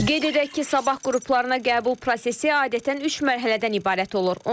Qeyd edək ki, sabah qruplarına qəbul prosesi adətən üç mərhələdən ibarət olur.